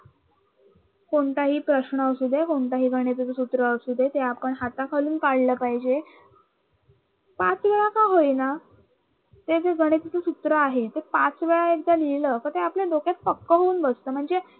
कोणताही प्रश्न असू दे कोणत्याही गणिताच सूत्र असू दे, ते आपण हाताखालून काढलं पाहिजे. पाचवेळा का होईना ते जे गणिताच सूत्र आहे ते पाचवेळा एकदा लिहिलं तर ते आपल्या डोक्यात पक्क होऊन बसत म्हणजे.